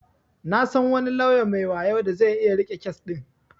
Na san wani lauya mai wayo da zai iya riƙe kes din.